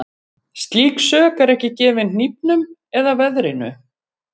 Slík sök er ekki gefin hnífnum eða veðrinu.